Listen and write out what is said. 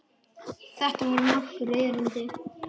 Þetta voru nokkur erindi.